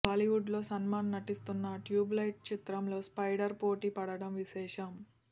బాలీవుడ్లో సల్మాన్ నటిస్తున్న ట్యూబ్లైట్ చిత్రంతో స్పైడర్ పోటీ పడటం విశేషం